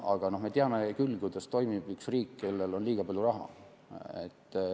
Aga me teame küll, kuidas toimib üks riik, kellel on liiga palju raha.